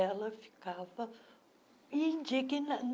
Ela ficava